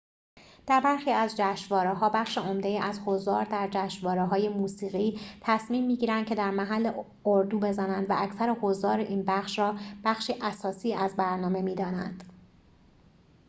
در برخی از جشنواره‌ها بخش عمده‌ای از حضار در جشنواره‌های موسیقی تصمیم می‌گیرند که در محل اردو بزنند و اکثر حضار این بخش را بخشی اساسی از برنامه می‌دانند